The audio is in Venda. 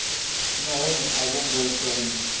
nahone a vho ngo tou